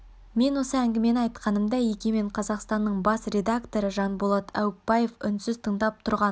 мен осы әңгімені айтқанымда егемен қазақстанның бас редакторы жанболат аупбаев үнсіз тыңдап тұрған